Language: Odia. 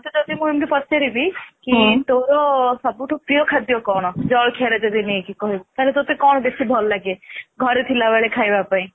ତୋତେ ଯଦି ମୁଁ ଇମିତି ପଚାରିବି କି ତୋର ସବୁ ଠୁ ପ୍ରିୟ ଖାଦ୍ୟ କଣ ଜଳଖିଆ ରେ ଯଦି ନେଇ କି କହିବୁ ତା ହେଲେ ତୋତେ କଣ ବେଶୀ ଭଲ ଲାଗେ ଘରେ ଥିଲା ବେଳେ ଖାଇବା ପାଇଁ ?